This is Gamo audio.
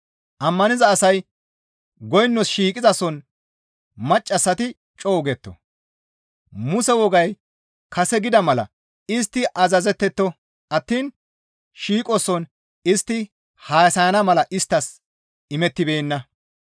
Ammaniza asay goynos shiiqizason maccassati co7u getto; Muse wogay kase gida mala istti azazetteto attiin shiiqoson istti haasayana mala isttas imettibeenna.